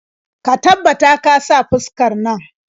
Ka tabbata ka saka fuskar nan.